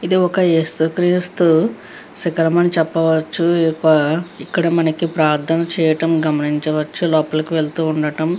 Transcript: ఇది ఒక యేసు క్రీస్తు శిఖరం అని చెప్పవచ్చు. ఈ యొక్క ఇక్కడ మనకి ప్రార్ధనలు చేయడం గమనించవచ్చు. లోపలికి వెళ్తూ ఉండడం --